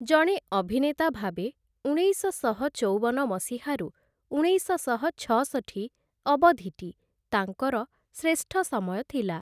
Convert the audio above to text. ଜଣେ ଅଭିନେତା ଭାବେ, ଉଣେଇଶଶହ ଚଉବନ ମସିହାରୁ ଉଣେଇଶଶହ ଛଅଷଠି ଅବଧିଟି ତାଙ୍କର ଶ୍ରେଷ୍ଠ ସମୟ ଥିଲା ।